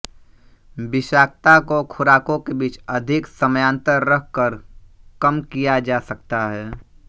विषाक्तता को खुराकों के बीच अधिक समयांतर रख कर कम किया जा सकता है